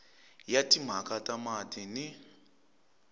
ya timhaka ta mati ni